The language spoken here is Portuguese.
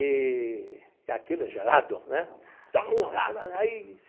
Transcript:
Eee e aquilo é gelado, né?